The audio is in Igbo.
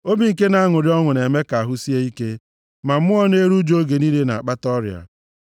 Obi nke na-aṅụrị ọṅụ na-eme ka ahụ sie ike, ma mmụọ na-eru ụjụ oge niile na-akpata ọrịa.